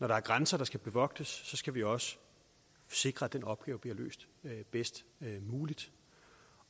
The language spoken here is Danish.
der er grænser der skal bevogtes skal vi også sikre at den opgave bliver løst bedst muligt